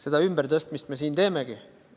Seda ümbertõstmist me siin teemegi.